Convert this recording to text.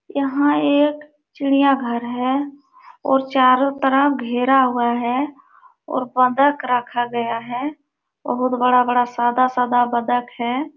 यहाँ एक चिड़िया घर है और चारो तरफ घेरा हुआ है और बत्तख रखा गया है। बहुत बड़ा-बड़ा सादा-सादा बत्तख है।